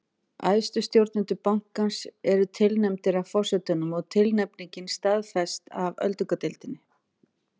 Æðstu stjórnendur bankans eru tilnefndir af forsetanum og tilnefningin staðfest af öldungadeildinni.